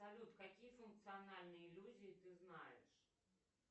салют какие функциональные иллюзии ты знаешь